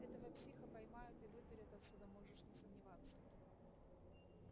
этого психа поймают и вытурят отсюда можешь не сомневаться